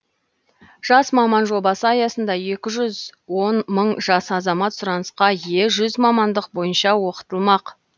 жас маман жобасы аясында екі жүз он мың жас азамат сұранысқа ие жүз мамандық бойынша оқытылмақ